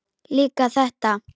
Líka þetta.